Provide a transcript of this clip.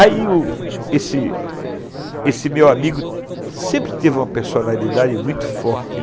Aí u, esse esse meu amigo sempre teve uma personalidade muito forte.